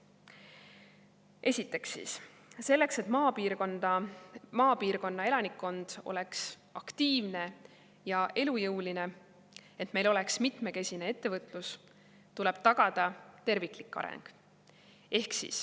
Esiteks, selleks, et maapiirkonna elanikkond oleks aktiivne ja elujõuline ja et meil oleks mitmekesine ettevõtlus, tuleb tagada terviklik areng.